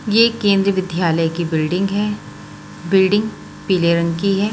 ये केंद्रीय विद्यालय की बिल्डिंग है बिल्डिंग पीले रंग की है।